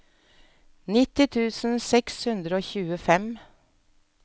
nitti tusen seks hundre og tjuefem